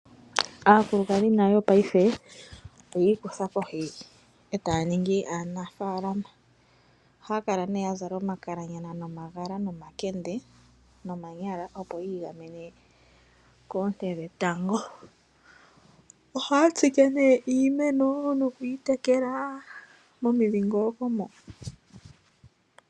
Aakulukadhi nayo paife oyi ikutha kohi e taa ningi aanafaalama. Ohaa kala nee ya zala omakalanyana, nomagala nomakende nomanyala opo yi igamene koonte dhetango. Ohaa tsike nee iimeno nokuyi tekela momidhingoloko mo.